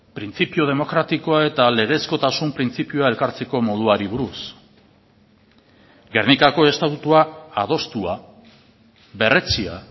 printzipio demokratikoa eta legezkotasun printzipioa elkartzeko moduari buruz gernikako estatutua adostua berretsia